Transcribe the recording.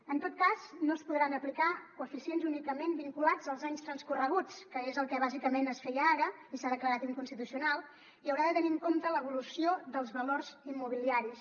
en tot cas no es podran aplicar coeficients únicament vinculats als anys transcorreguts que és el que bàsicament es feia ara i s’ha declarat inconstitucional i haurà de tenir en compte l’evolució dels valors immobiliaris